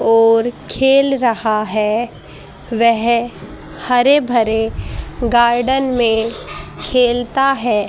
और खेल रहा है वह हरे भरे गार्डन में खेलता है।